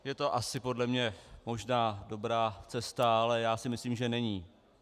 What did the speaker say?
Je to asi podle mě možná dobrá cesta, ale já si myslím, že není.